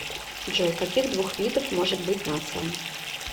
джой каких двух видов может быть нация